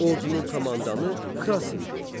Ordunun komandanı Kras idi.